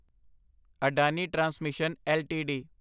Adani transmission LTD